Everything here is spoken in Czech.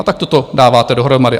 A takto to dáváte dohromady.